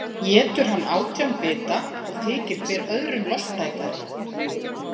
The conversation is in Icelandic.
Étur hann átján bita og þykir hver öðrum lostætari.